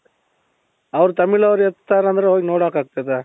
ಅವರು ತಮಿಳವರು ಇರ್ದತಾರೆ ಅಂದ್ರೆ ಹೋಗಿ ನೋಡಕೆ ಆಗ್ತದೆ